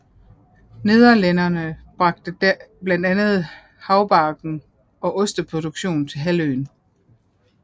Nederlændere bragte blandt andet haubargen og osteproduktionen til halvøen